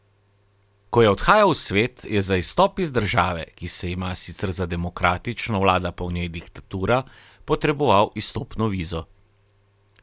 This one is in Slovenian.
Ko je odhajal v svet, je za izstop iz države, ki se ima sicer za demokratično, vlada pa v njej diktatura, potreboval izstopno vizo.